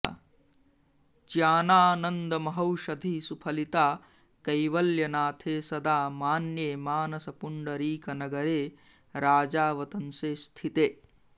ज्ञानानन्दमहौषधिः सुफलिता कैवल्यनाथे सदा मान्ये मानसपुण्डरीकनगरे राजावतंसे स्थिते